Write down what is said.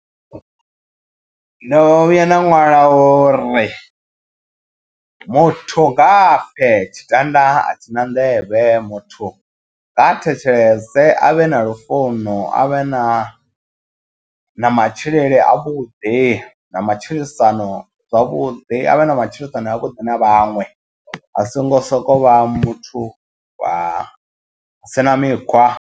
Ndo vhuya nda ṅwala uri muthu nga pfhe tshitanda a tshina nḓevhe muthu nga thetshelese a vhe na lufuno avhe na ha na matshilele a vhuḓi na matshilisano zwavhuḓi avhe na matshilisano a vhuḓi na vhaṅwe a songo soko vha muthu wa sina mikhwa.